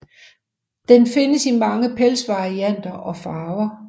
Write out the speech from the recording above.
Den findes i mange pelsvarianter og farver